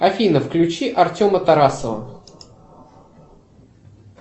афина включи артема тарасова